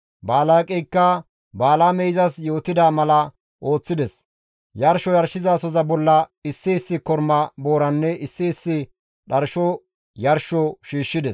Balaaqeyka Balaamey izas yootida mala ooththides; yarsho yarshizasoza bolla issi issi korma booranne issi issi dharsho yarsho shiishshides.